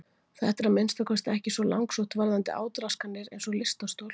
Þetta er að minnsta kosti ekki svo langsótt varðandi átraskanir eins og lystarstol.